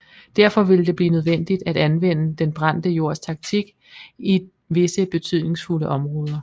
Derfor ville det blive nødvendigt at anvende den brændte jords taktik i visse betydningsfulde områder